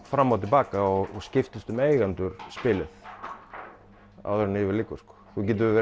fram og til baka og skiptist um eigendur spilið áður en yfir lýkur þú getur verið